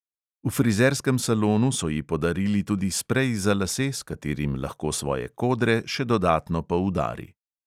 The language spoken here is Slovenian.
V frizerskem salonu so ji podarili tudi sprej za lase, s katerim lahko svoje kodre še dodatno poudari.